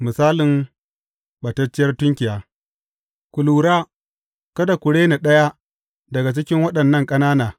Misalin ɓatacciyar tunkiya Ku lura, kada ku rena ɗaya daga cikin waɗannan ƙanana.